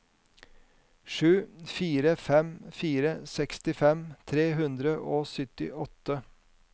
sju fire fem fire sekstifem tre hundre og syttiåtte